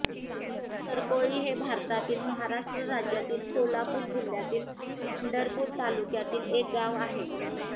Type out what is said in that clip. सरकोळी हे भारतातील महाराष्ट्र राज्यातील सोलापूर जिल्ह्यातील पंढरपूर तालुक्यातील एक गाव आहे